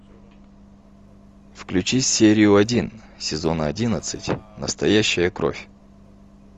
включи серию один сезона одиннадцать настоящая кровь